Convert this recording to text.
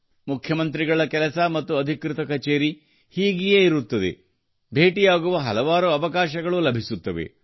ಮುಖ್ಯಮಂತ್ರಿಗಳ ಕೆಲಸ ಮತ್ತು ಅಧಿಕೃತ ಕಚೇರಿ ಹೀಗಿಯೇ ಇರುತ್ತದೆ ಭೇಟಿಯಾಗುವ ಹಲವಾರು ಅವಕಾಶಗಳು ಲಭಿಸುತ್ತವೆ